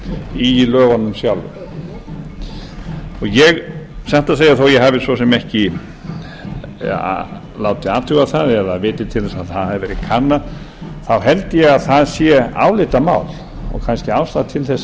í lögunum sjálfum ég satt að segja svo ég hafi ekki látið athuga það eða viti til að það hafi verið kannað þá held ég að það sé álitamál og kannski ástæða til að